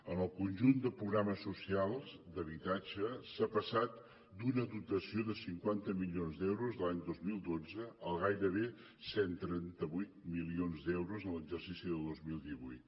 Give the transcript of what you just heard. en el conjunt de programes socials d’habitatge s’ha passat d’una dotació de cinquanta milions d’euros l’any dos mil dotze a gairebé cent i trenta vuit milions d’euros en l’exercici del dos mil divuit